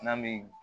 N'an bɛ